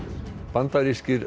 bandarískir